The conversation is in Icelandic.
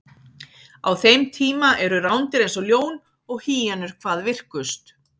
á þeim tíma eru rándýr eins og ljón og hýenur hvað virkust